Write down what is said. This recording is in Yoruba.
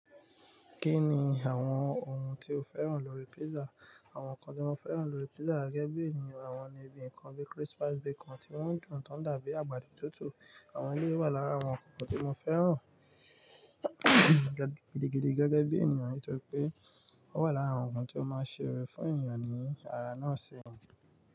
Kíni àwọn ohun tí o fẹ́ràn lórí pizza? Àwọn nǹkan tí mo fẹ́ràn lórí pizza gẹ́gẹ́ bí ènìyàn àwọn ni bi ǹkan bí crispy bacon tí wọ́n dùn tán dàbí àgbàdo tútù. Àwọn eleyìí wà lára àwọn ǹkankan tí mo fẹ́ràn gidigidi gẹ́gẹ́ bí ènìyàn nítorí pé ó wà lára awon ogun tí ó máa ń ṣeere fún ènìyàn ní ara náà se.